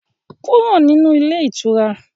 Kúrò nínú ilé ìtura!